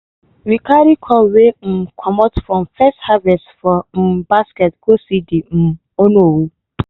we carry corn wey um comot from first harvest for um basket go see de um onowu.